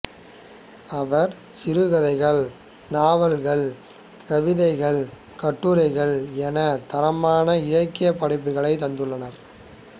அவர் சிறுகதைகள் நாவல்கள் கவிதைகள் கட்டுரைகள் எனத் தரமான இலக்கியப் படைப்புகளைத் தந்துள்ளார்